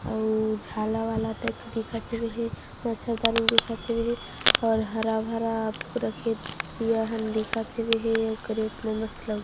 अउ झाला वाला टाइप दिखत हेवे हे मच्छरदानी दिखत हेवे हे और हरा-भरा पूरा खेत दिखत हेवे हे अउ कैरेट म मस्त लउकी --